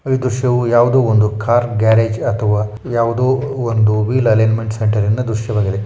ಈ ದೃಶ್ಯವೂ ಯಾವುದೋ ಒಂದು ಕಾರ್ ಗ್ಯಾರೇಜ್ ಅಥವಾ ಯಾವುದೋ ಒಂದು ವೀಲ್ ಅಲೈನ್ಮೆಂಟ್ ಸೆಂಟರ ಇನ ದೃಶ್ಯವಾಗಿದೆ.